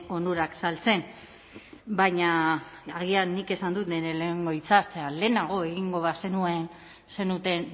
onurak azaltzen baina agian nik esan dut nire lehenengo hitzaldian lehenago egingo bazenuten